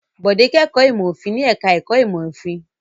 Bọ̀dé kẹ́kọ̀ọ́ ìmọ̀-òfin ní ẹ̀ka-ẹ̀kọ́ ìmọ̀-òfin.